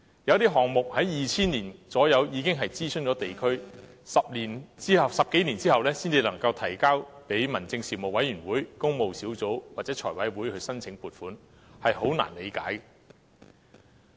有項目約在2000年已經諮詢地區，但到10多年後才提交民政事務委員會、工務小組委員會或財務委員會申請撥款，實在難以理解。